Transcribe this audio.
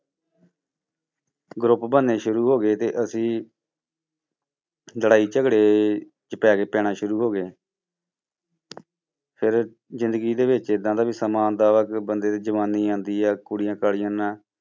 Group ਬਣਨੇ ਸ਼ੁਰੂ ਹੋ ਗਏ ਤੇ ਅਸੀਂ ਲੜਾਈ ਝਗੜੇ 'ਚ ਪੈ ਗਏ ਪੈਣਾ ਸ਼ੁਰੂ ਹੋ ਗਏ ਫਿਰ ਜ਼ਿੰਦਗੀ ਦੇ ਵਿੱਚ ਏਦਾਂ ਦਾ ਵੀ ਸਮਾਂਂ ਆਉਂਦਾ ਵਾ ਕਿ ਬੰਦੇ ਤੇ ਜਵਾਨੀ ਆਉਂਦੀ ਆ ਕੁੜੀਆਂ ਕਾੜੀਆਂ ਨਾਲ